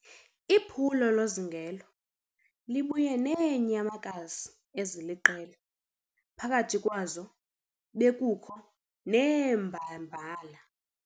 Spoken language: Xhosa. Iphulo lozingelo libuye neenyamakazi eziliqela phakathi kwazo bekukho neembabala.